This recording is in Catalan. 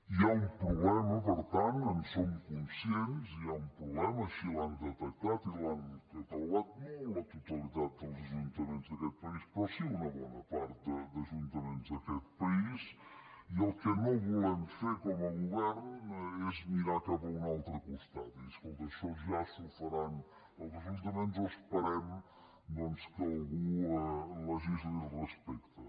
hi ha un problema per tant en som conscients hi ha un problema així l’han detectat i l’han catalogat no la totalitat dels ajuntaments d’aquest país però sí una bona part d’ajuntaments d’aquest país i el que no volem fer com a govern és mirar cap a un altre costat i dir escolta això ja s’ho faran els ajuntaments o esperem doncs que algú legisli al respecte